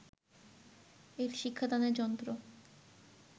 এর শিক্ষাদানের যন্ত্র